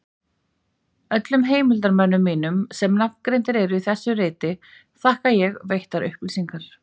Öllum heimildarmönnum mínum, sem nafngreindir eru í þessu riti, þakka ég veittar upplýsingar.